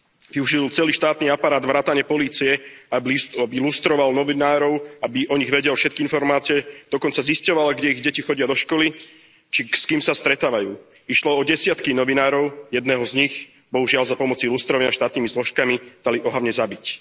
Využil celý štátny aparát vrátane polície, aby lustroval novinárov, aby o nich vedel všetky informácie, dokonca zisťoval, kde ich deti chodia do školy, či s kým sa stretávajú. Išlo o desiatky novinárov, jedného z nich, bohužiaľ za pomoci lustrovania štátnymi zložkami, dali ohavne zabiť.